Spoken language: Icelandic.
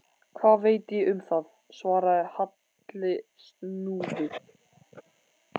Hvað veit ég um það? svaraði Halli snúðugt.